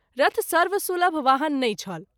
रथ सर्वसुलभ वाहन नहिं छल।